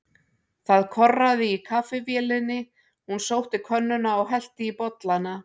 Það korraði í kaffivélinni, hún sótti könnuna og hellti í bollana.